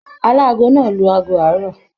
Aláàgo náà lù aago àárọ̀.